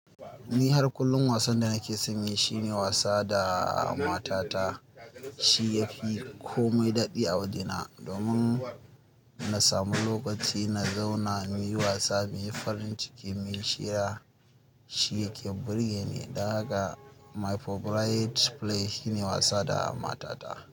Ni har kullum wasan da nake son yi shine wasa da matata. Shi yafi komai daɗi a wajena domin na samu lokaci na zauna muyi wasa, muyi farin ciki, muyi shira, shi yake burge ni. Dan haka my favorite play shine wasa da matata.